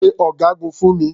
Pe ọ̀gágun fún mi.